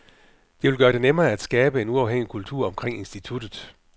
Det vil gøre det nemmere at skabe en uafhængig kultur omkring instituttet.